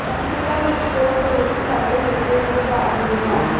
ਪੰਚਕੂਲਾ ਵਿਚ ਰੋਸ ਪ੍ਰਦਰਸ਼ਨ ਕਰਦੇ ਹੋਏ ਸਿਹਤ ਵਿਭਾਗ ਦੇ ਮੁਲਾਜ਼ਮ